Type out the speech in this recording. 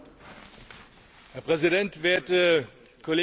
Herr Präsident, werte Kolleginnen und Kollegen!